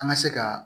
An ka se ka